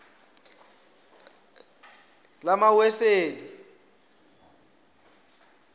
lamaweseli